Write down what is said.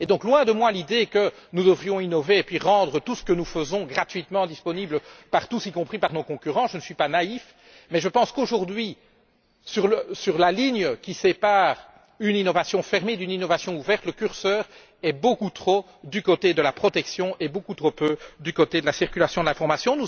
Loin de moi l'idée que nous devrions innover puis mettre tout ce que nous faisons gratuitement à la disposition de tous, y compris de nos concurrents. Je ne suis pas naïf, mais je pense qu'aujourd'hui, sur la ligne qui sépare une innovation fermée d'une innovation ouverte, le curseur est beaucoup trop du côté de la protection et beaucoup trop peu du côté de la circulation de l'information.